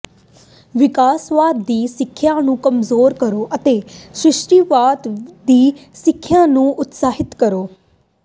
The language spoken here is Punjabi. ਵਿਕਾਸਵਾਦ ਦੀ ਸਿੱਖਿਆ ਨੂੰ ਕਮਜ਼ੋਰ ਕਰੋ ਅਤੇ ਸ੍ਰਿਸ਼ਟੀਵਾਦ ਦੀ ਸਿੱਖਿਆ ਨੂੰ ਉਤਸ਼ਾਹਿਤ ਕਰੋ